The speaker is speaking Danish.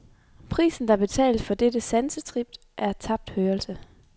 Prisen der betales for dette sansetrip er tabt hørelse.